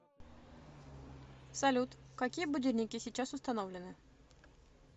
салют какие будильники сейчас установлены